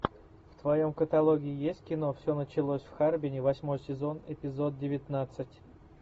в твоем каталоге есть кино все началось в харбине восьмой сезон эпизод девятнадцать